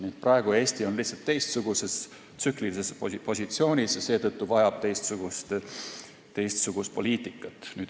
Nii et Eesti on praegu lihtsalt teistsuguses tsüklilises positsioonis ja vajab seetõttu teistsugust poliitikat.